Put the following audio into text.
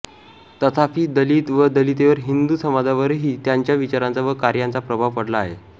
तथापि दलित व दलितेतर हिंदू समाजावरही त्यांच्या विचारांचा व कार्यांचा प्रभाव पडला आहे